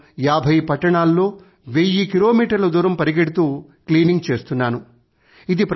నేను ఏభై పట్టణాలలో వెయ్యి కిలోమీటర్ల దూరం పరిగెడుతూ క్లీనింగ్ చేస్తున్నాను